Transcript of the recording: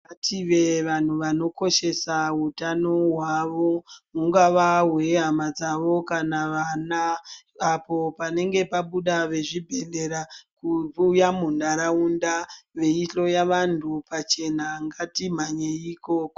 Ngative vanhu vanokoshesa hutano hwavo hungava hwe hama dzavo kana vana apo panenge pabuda ve zvibhedhlera kuuya mu nharaunda vei dhloya vantu pachena ngati mhanyei ikoko.